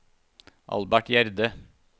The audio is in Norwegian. Albert Gjerde